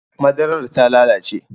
Madarar ta lalace